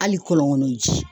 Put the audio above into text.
Hali kɔlɔn kɔnɔ ji